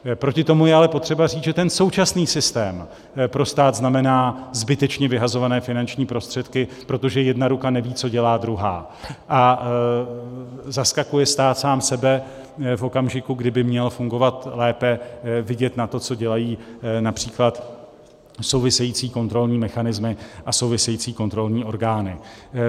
Proti tomu je ale potřeba říct, že ten současný systém pro stát znamená zbytečně vyhazované finanční prostředky, protože jedna ruka neví, co dělá druhá, a zaskakuje stát sám sebe v okamžiku, kdyby měl fungovat lépe, vidět na to, co dělají například související kontrolní mechanismy a související kontrolní orgány.